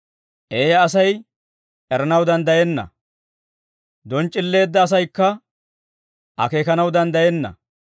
Eeyya Asay eranaw danddayenna; donc'c'illeedda asaykka akeekanaw danddayenna.